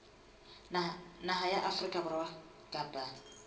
naha ya afrika borwa kapa